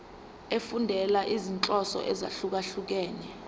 efundela izinhloso ezahlukehlukene